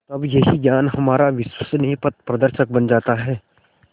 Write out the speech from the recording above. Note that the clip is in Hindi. तब यही ज्ञान हमारा विश्वसनीय पथप्रदर्शक बन जाता है